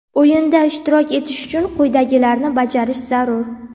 O‘yinda ishtirok etish uchun quyidagilarni bajarish zarur:.